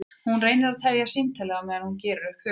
Hún reynir að tefja símtalið á meðan hún gerir upp hug sinn.